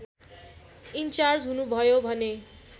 in charge हुनुभयो भने